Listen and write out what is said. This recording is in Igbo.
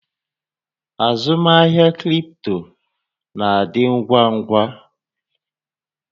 Azụmahịa cripto na-adị ngwa ngwa.